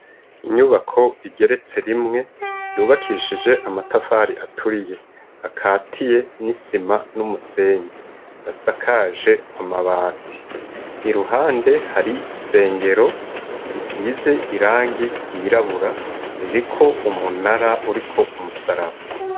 Inyubako igeretse rimwe, yubakishije amatafari aturiye. Akatiye n'isima n'umusenyi, asakaje amabati. Iruhande hari isengero, isize irangi ryirabura iriko umunara uriko umusaraba.